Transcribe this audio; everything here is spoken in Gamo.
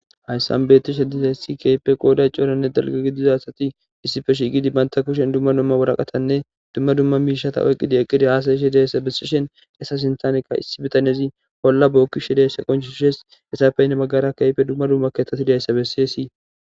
Hayssan beeththishe dizayssi keehippe qooday coranne dara gidiza asathi issipe shiiqidi banthta kushen waraqathanne dumma dumma miishshatha oyqqidi eqqidi haasa7ishe diyasa bessishen etha sinththaanikka issi bithanezi olla bookkishe deesa qonccisse de;ethappe hini baggara dumma dumma keeththathi deysa bessesi.